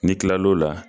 N'i kilal'o la